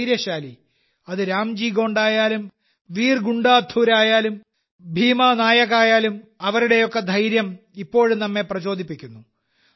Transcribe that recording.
ധൈര്യശാലി അത് രാംജി ഗോണ്ടായാലും വീർ ഗുണ്ടാധൂരായാലും ഭീമാനായകായാലും അവരുടെയൊക്കെ ധൈര്യം ഇപ്പോഴും നമ്മെ പ്രചോദിപ്പിക്കുന്നു